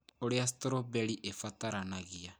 Ũrĩa Strawberry Ĩbataranagia